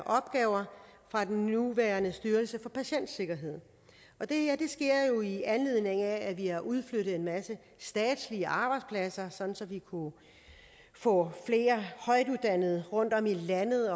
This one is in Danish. opgaver fra den nuværende styrelse for patientsikkerhed det her sker jo i anledning af at vi har udflyttet en masse statslige arbejdspladser sådan at vi kunne få flere højtuddannede rundtom i landet